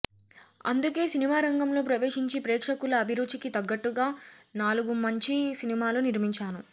అందుకే సినిమారంగంలో ప్రవేశించి ప్రేక్షకుల అభిరుచికి తగ్గట్టుగా నాలుగు మంచి సినిమాలు నిర్మించాను